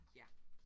Ja